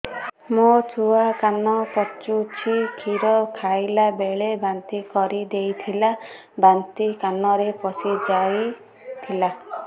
ମୋ ଛୁଆ କାନ ପଚୁଛି କ୍ଷୀର ଖାଇଲାବେଳେ ବାନ୍ତି କରି ଦେଇଥିଲା ବାନ୍ତି କାନରେ ପଶିଯାଇ ଥିଲା